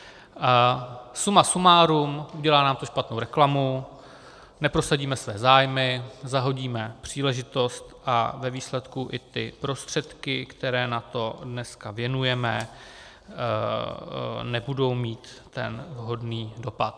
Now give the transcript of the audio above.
Suma sumárum, udělá nám to špatnou reklamu, neprosadíme své zájmy, zahodíme příležitost a ve výsledku i ty prostředky, které na to dneska věnujeme, nebudou mít ten vhodný dopad.